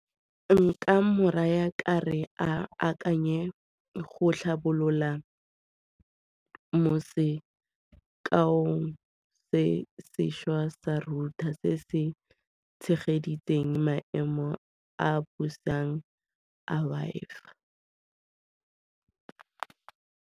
Nka mo raya ka re, a akanye go tlhabolola ka mo sekaong se sešwa sa router se se tshegeditseng maemo a a busang a Wi-Fi.